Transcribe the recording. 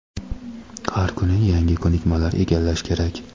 Har kuni yangi ko‘nikmalar egallash kerak.